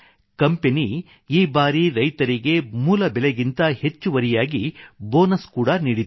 company ಈ ಬಾರಿ ರೈತರಿಗೆ ಮೂಲ ಬೆಲೆಗಿಂತ ಹೆಚ್ಚುವರಿಯಾಗಿ ಬೋನಸ್ ಕೂಡಾ ನೀಡಿತು